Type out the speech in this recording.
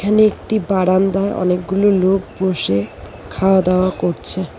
এখানে একটি বারান্দায় অনেকগুলো লোক বসে খাওয়া দাওয়া করছে।